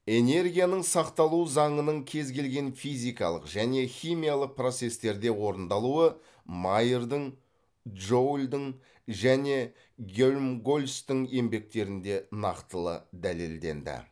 энергияның сақталу заңының кез келген физикалық және химиялық процестерде орындалуы майердің джоульдің және гельмгольцтің еңбектерінде нақтылы дәлелденді